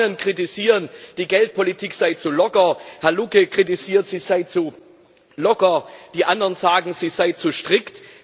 Die einen kritisieren, die Geldpolitik sei zu locker, Herr Lucke kritisiert, sie sei zu locker, die anderen sagen, sie sei zu strikt.